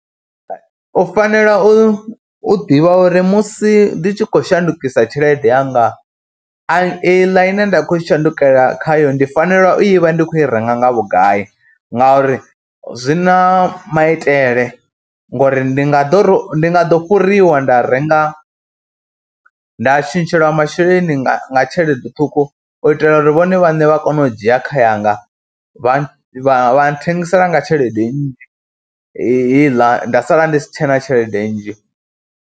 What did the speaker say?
U fanela u ḓivha uri musi ndi tshi khou shandukisa tshelede yanga, a i ḽa ine nda khou i shandukela khayo ndi fanela u i vha ndi khou i renga nga vhugai ngauri zwi na maitele ngori ndi nga ḓo, nga ḓo fhuriwa nda renga, nda tshintshelwa masheleni nga tshelede ṱhukhu u itela uri vhone vhaṋe vha kone u dzhia kha yanga vha vha nṱhengisela nga tshelede nnzhi heiḽa, nda sala ndi si tshe na tshelede nnzhi.